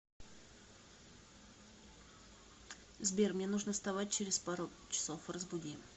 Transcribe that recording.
сбер мне нужно вставать через пару часов разбуди